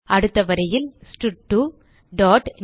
அடுத்த வரியில் ஸ்டட்2 டாட்